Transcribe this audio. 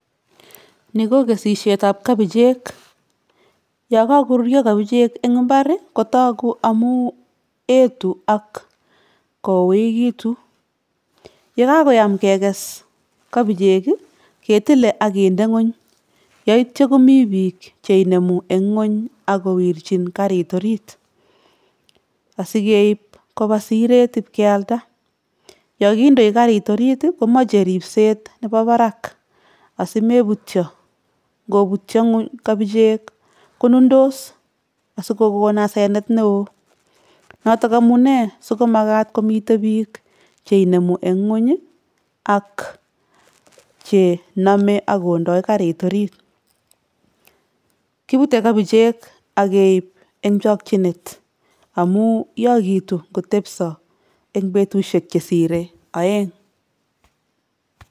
Ni ko kesisietab kabichek, yo kakoruryo kabichek eng imbar ii kotoku amu etu ak kouekitu, ye kakoyam kekes kabichek ii, ketile ak kinde nguny yaityo komi biik cheinemu eng nguny ak kowirjin garit orit asi keip koba siret ip kealda, yo kindoi garit orit ii komoche ripset nebo barak asi mebutyo, ngobutyo nguny kobichek konundos asikokon asenet ne oo, noto amunee sikomakat komite biik che inemu eng nguny ak chenome ak kondo garit orit, kibute kabichek ak keip eng chokchinet amu yokitu ngotepso eng betusiek chesire oeng.